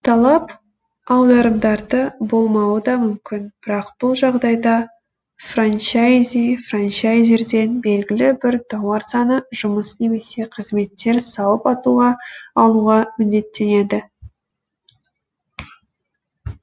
талап аударымдарды болмауы да мүмкін бірақ бұл жағдайда франчайзи франчайзерден белгілі бір тауар саны жұмыс немесе қызметтер салып алуға міндеттенеді